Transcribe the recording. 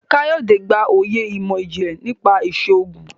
Kayode gbà oyè imọ-jinlẹ nípa iṣoogun